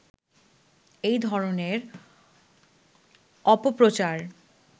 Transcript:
এই ধরনের অপপ্রচার